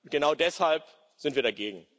Genau deshalb sind wir dagegen.